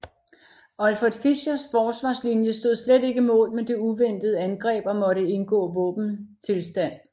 Olfert Fischers forsvarslinje stod slet ikke mål med det uventede angreb og måtte indgå våbenstilstand